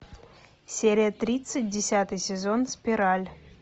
серия тридцать десятый сезон спираль